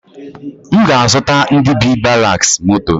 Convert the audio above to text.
M ga azụta ndi bi ‘baraks moto